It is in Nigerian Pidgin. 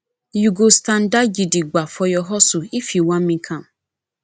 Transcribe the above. you go standa gidigba for your hustle if you wan make am